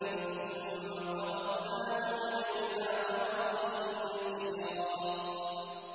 ثُمَّ قَبَضْنَاهُ إِلَيْنَا قَبْضًا يَسِيرًا